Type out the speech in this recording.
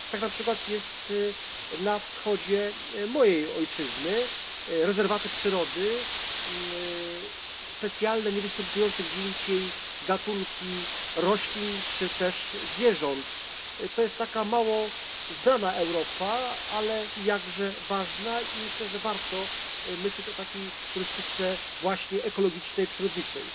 Tak na przykład jest na wschodzie mojej ojczyzny rezerwaty przyrody, specjalne, niewystępujące gdzie indziej gatunki roślin czy też zwierząt. To jest taka mało znana Europa, ale jakże ważna, i myślę, że warto myśleć o takiej turystyce właśnie ekologicznej, przyrodniczej.